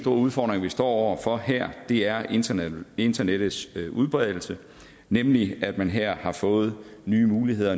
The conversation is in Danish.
udfordringer vi står over for her er internettets internettets udbredelse nemlig at man her har fået nye muligheder